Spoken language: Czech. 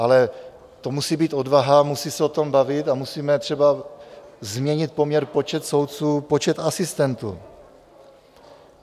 Ale to musí být odvaha, musíme se o tom bavit a musíme třeba změnit poměr počet soudců, počet asistentů.